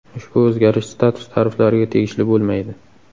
Ushbu o‘zgarish Status tariflariga tegishli bo‘lmaydi.